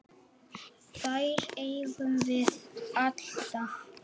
Þær eigum við alltaf.